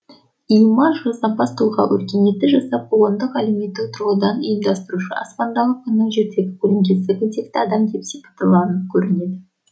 и има жасампаз тұлға өркениетті жасап қоғамды әлеуметтік тұрғыдан ұйымдастырушы аспандағы күннің жердегі көлеңкесі күнтекті адам деп сияқтыланып көрінеді